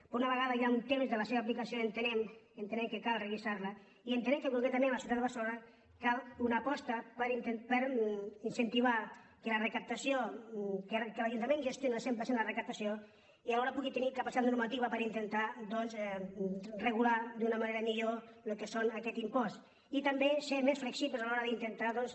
però una vegada hi ha un temps de la seva apli·cació entenem que cal revisar·la i entenem que con·cretament a la ciutat de barcelona cal una aposta per incentivar que l’ajuntament gestioni el cent per cent de la recaptació i alhora pugui tenir capacitat norma·tiva per intentar doncs regular d’una manera millor el que és aquest impost i també ser més flexibles a l’hora d’intentar doncs